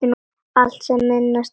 Allt sem minnti á hana.